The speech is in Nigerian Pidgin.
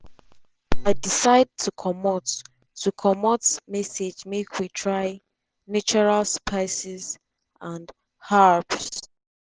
“i decide to comot to comot msg make we try natural spices and herbs.”